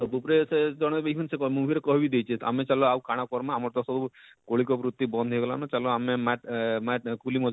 ତାର ଉପରେ ଅଛେ ଜଣେଇ ଦେଇଛନ ସେ movie ରେ କହି ବି ଦେଇଛେ ଆମେ ଚାଲ ଆଉ କାଣା କର୍ ମା ଆମର ତ ସବୁ ମୌଳିକ ବୃତି ବନ୍ଦ ହେଇ ଗଲାନ ଚାଲ ଆମେ ମାଟ ମାଟ କୁଲି ମଜରୀ,